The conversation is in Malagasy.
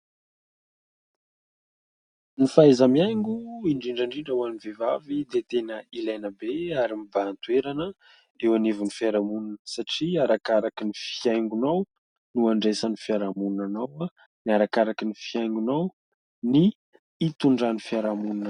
Ny fahaza-mihaingo indrindrandrindra hoan'ny vehivavy dia tena ilaina be ary mibahantoerana eo anivon'ny fiarahamonina satria arakarakany'ny fihaingonao no andraisan'ny fiarahamonina anao arakarakan'ny fiaingonao ny itondran'ny fiaramonina.